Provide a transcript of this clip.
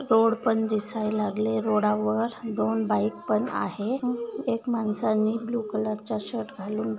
Road पण दिसाय लागले. रोडावर दोन बाइक पण आहे. एक माणसानी ब्लू कलर चा शर्ट घालून--